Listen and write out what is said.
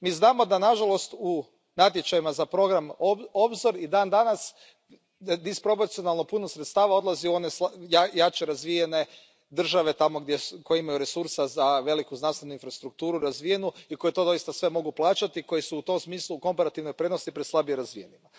Mi znamo da, nažalost, u natječajima za program Obzor i dan danas disproporcionalno puno sredstava odlazi u one jače razvijene države koje imaju resursa za veliku znanstvenu infrastrukturu razvijenu i koje to doista sve mogu plaćati, koje su u tom smislu u komparativnoj prednosti pred slabije razvijenima.